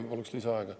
Ma paluksin lisaaega.